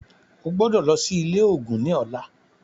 O gbọ́dọ̀ lọ sí ilé ògún ní ọlá.